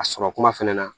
A sɔrɔ kuma fɛnɛ na